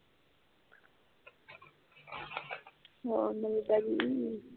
ਹੋਰ ਨਵੀਂ ਤਾਜ਼ੀ